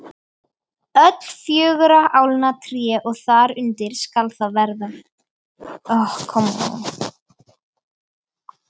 Öll fjögurra álna tré og þar undir skal það vera.